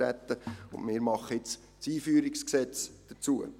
Wir machen nun das Einführungsgesetz dazu.